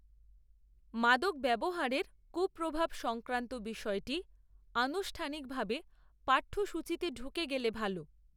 মাদক ব্যবহারের কূপ্রভাব সংক্রান্ত বিষয়টি, আনুষ্ঠানিকভাবে, পাঠ্যসূচচিতে ঢুকে গেলে ভাল